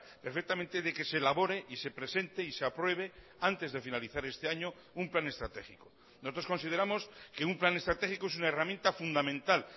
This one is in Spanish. perfectamente de que se elabore y se presente y se apruebe antes de finalizar este año un plan estratégico nosotros consideramos que un plan estratégico es una herramienta fundamental